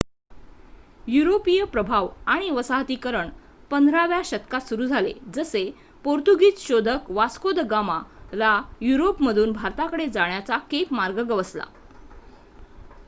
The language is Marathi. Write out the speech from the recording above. युरोपीय प्रभाव आणि वसाहतीकरण 15 व्या शतकात सुरु झाले जसे पोर्तुगीझ शोधक वास्को द गामा ला युरोप मधून भारताकडे जाण्याचा केप मार्ग गवसला